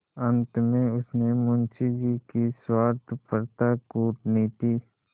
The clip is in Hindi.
अंत में उसने मुंशी जी की स्वार्थपरता कूटनीति